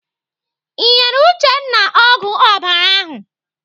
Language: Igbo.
Ị nyere Uchenna ọgwụ ọbara ahụ?